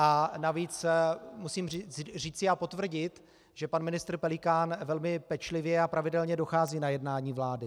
A navíc musím říci a potvrdit, že pan ministr Pelikán velmi pečlivě a pravidelně dochází na jednání vlády.